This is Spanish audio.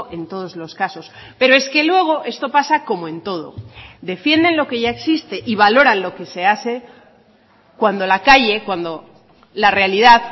en todos los casos pero es que luego esto pasa como en todo defienden lo que ya existe y valoran lo que se hace cuando la calle cuando la realidad